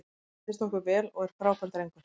Hann reyndist okkur vel og er frábær drengur.